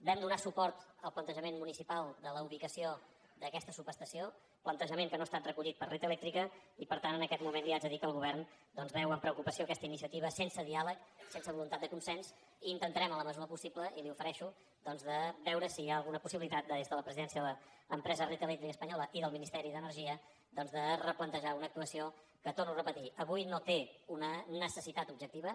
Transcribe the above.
vam donar suport al plantejament municipal de la ubicació d’aquesta subestació plantejament que no ha estat recollit per red eléctrica i per tant en aquest moment li haig de dir que el govern doncs veu amb preocupació aquesta iniciativa sense diàleg sense voluntat de consens i intentarem en la mesura del possible i m’hi ofereixo doncs de veure si hi ha alguna possibilitat des de la presidència de l’empresa red eléctrica española i del ministeri d’energia de replantejar una actuació que ho torno a repetir avui no té una necessitat objectiva